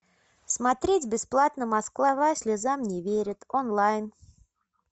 смотреть бесплатно москва слезам не верит онлайн